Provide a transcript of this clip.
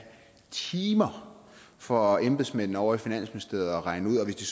timer for embedsmændene ovre i finansministeriet at regne ud og hvis de